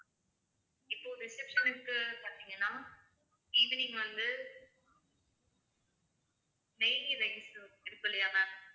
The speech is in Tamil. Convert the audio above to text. இப்போ reception க்கு பார்த்தீங்கன்னா evening வந்து நெய் ghee rice இருக்கும் இல்லையா ma'am